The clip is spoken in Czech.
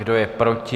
Kdo je proti?